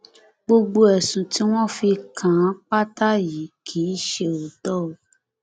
gbogbo ẹsùn tí wọn fi kàn án pátá yìí kì í ṣe òótọ o